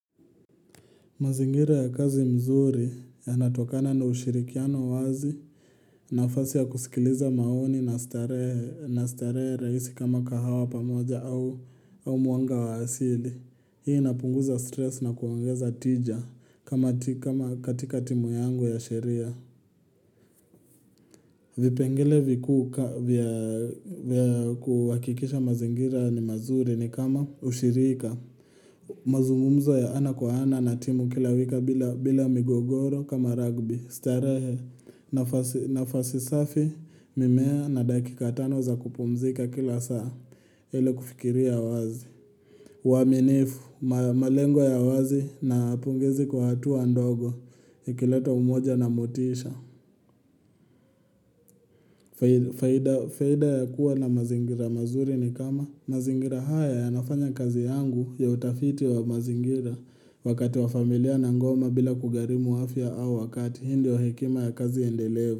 Mazingira ya kazi mzuri yanatokana na ushirikiano wazi nafasi ya kusikiliza maoni na starehe rahisi kama kahawa pamoja au mwanga wa asili. Hii inapunguza stress na kuongeza tija kama katika timu yangu ya sheria. Vipengele vikku vya kuhakikisha mazingira ni mazuri ni kama ushirika. Mazumumzo ya ana kwa ana na timu kila wika bila migogoro kama rugby starehe nafasi safi mimea na dakika tano za kupumzika kila saa ile kufikiria wazi uaminifu, malengo ya wazi na pongezi kwa hatua ndogo Ikileta umoja na motisha faida ya kuwa na mazingira mazuri ni kama mazingira haya ya nafanya kazi yangu ya utafiti wa mazingira Wakati wa familia na ngoma bila kugharimu afia au wakati hii ndio hekima ya kazi iendelee.